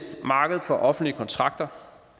markedet for offentlige kontrakter